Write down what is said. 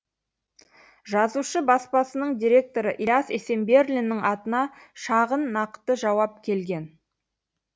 жазушы баспасының директоры ілияс есенберлиннің атына шағын нақты жауап келген